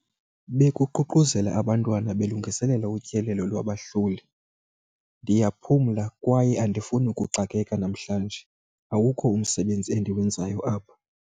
Bekuququzela abantwana belungiselela utyelelo lwabahloli. ndiyaphumla kwaye andifuni ukuxakeka namhlanje, awukho umsebenzi endiwenzayo apha